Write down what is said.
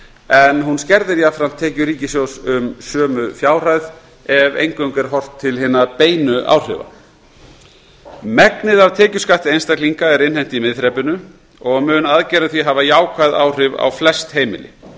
en hún skerðir jafnframt tekjur ríkissjóð um sömu fjárhæð ef eingöngu er horft til hinna beinu áhrifa megnið af tekjuskatti einstaklinga er innheimt í miðþrepinu og mun aðgerðin því hafa jákvæð áhrif á flest heimili